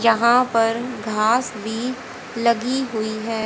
यहां पर घास भी लगी हुई है।